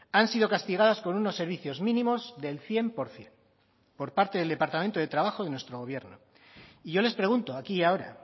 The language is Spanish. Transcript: han sido castigadas con unos servicios mínimos del cien por ciento por parte del departamento de trabajo de nuestro gobierno y yo les pregunto aquí y ahora